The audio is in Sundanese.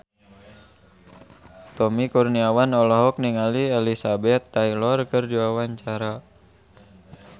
Tommy Kurniawan olohok ningali Elizabeth Taylor keur diwawancara